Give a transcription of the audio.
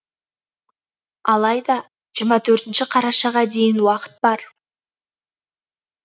алайда жиырма төртінші қарашаға дейін уақыт бар